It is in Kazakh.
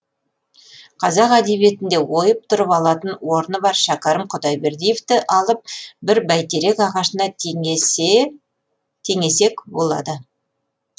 қазақ әдебиетінде ойып тұрып алатын орны бар шәкәрім құдайбердиевті алып бір бәйтерек ағашына теңесек болады